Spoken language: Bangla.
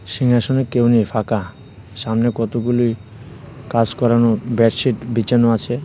সিংহাসনে কেউ নেই ফাঁকা সামনে কতগুলি কাজ করানো ব্যাডশিট বিছানো আছে।